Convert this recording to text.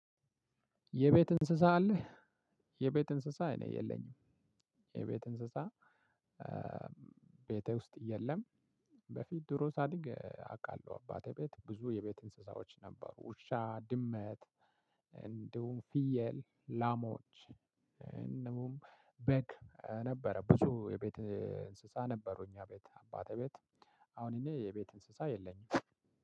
"የቤት እንስሳ አለህ?" የቤት እንስሳ እኔ የለኝም። የቤት እንስሳ ቤቴ ውስጥ የለም። በፊት ድሮ ሳድግ አውቃለሁ አባቴ ቤት ብዙ የቤት እንስሳዎች ነበሩ። ውሻ፣ ድመት፣ እንዲሁም ፍየል፣ ላሞች፣ እንዲሁም በግ ነበረ ብዙ የቤት እንስሳ ነበሩ እኛ ቤት አባቴ ቤት አሁን እኔ የቤት እንስሳ የለኝም።